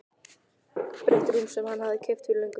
Þetta var tvíbreitt rúm sem hann hafði keypt fyrir löngu.